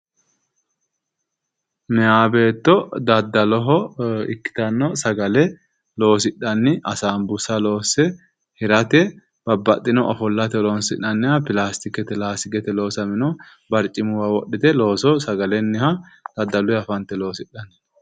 Maya beetto daddalloho ikkitano sagale loosidhanni asanbuussa loose hirate babbaxino ofollate horoonsi'nanniha pilaastikete laastikete loossamino barcimuwa wodhite looso sagalenniha daddallunniha fante loosidhanni no.